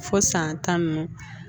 Fo san tan nunnu